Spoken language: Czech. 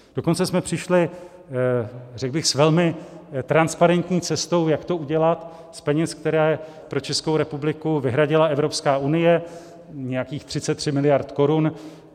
Dokonce jsme přišli, řekl bych, s velmi transparentní cestou, jak to udělat z peněz, které pro Českou republiku vyhradila Evropská unie, nějakých 33 mld. korun.